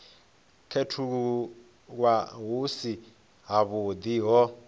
khethululwa hu si havhuḓi ho